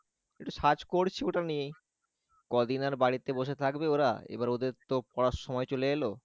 একটু search করছি ওটা নিয়েই কদিন আর বাড়িতে বসে থাকবে ওরা এবার ওদের তো পড়ার সময় চলে এলো